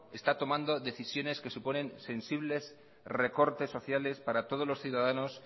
está tomando decisiones que suponen sensibles recortes sociales para todos los ciudadanos